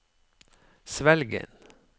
Svelgen